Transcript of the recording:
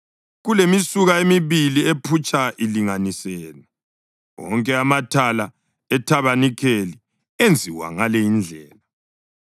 kulemisuka emibili ephutsha ilinganisene. Wonke amathala ethabanikeli enziwa ngale indlela.